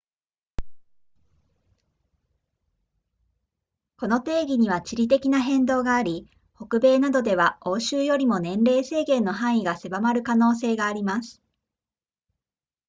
この定義には地理的な変動があり北米などでは欧州よりも年齢制限の範囲が狭まる可能性があります